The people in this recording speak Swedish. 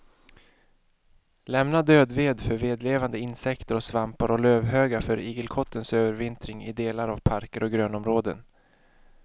Lämna död ved för vedlevande insekter och svampar och lövhögar för igelkottens övervintring i delar av parker och grönområden.